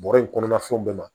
Bɔrɔ in kɔnɔna fɛnw bɛɛ ma